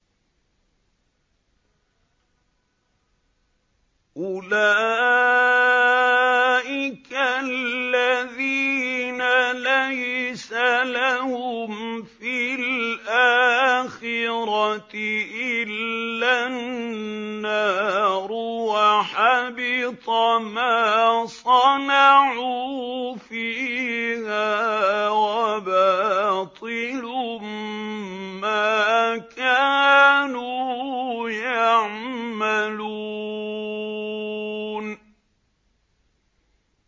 أُولَٰئِكَ الَّذِينَ لَيْسَ لَهُمْ فِي الْآخِرَةِ إِلَّا النَّارُ ۖ وَحَبِطَ مَا صَنَعُوا فِيهَا وَبَاطِلٌ مَّا كَانُوا يَعْمَلُونَ